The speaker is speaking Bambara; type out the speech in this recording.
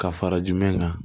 Ka fara jumɛn kan